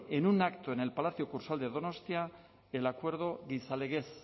en un acto en el palacio kursaal de donostia el acuerdo gizalegez